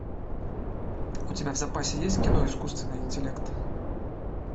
у тебя в запасе есть кино искусственный интеллект